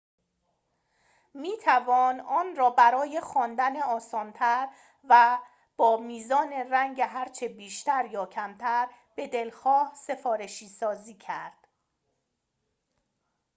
می‌توان آن را برای خواندن آسان‌تر و با میزان رنگ هرچه بیشتر یا کمتر به‌دلخواه سفارشی‌سازی کرد